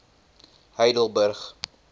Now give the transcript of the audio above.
heidelburg